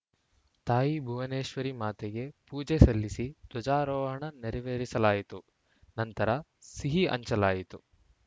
ತಾಯಿ ಭುವನೇಶ್ವರಿ ಮಾತೆಗೆ ಪೂಜೆ ಸಲ್ಲಿಸಿ ಧ್ವಜಾರೋಹಣ ನೆರವೇರಿಸಲಾಯಿತು ನಂತರ ಸಿಹಿ ಹಂಚಲಾಯಿತು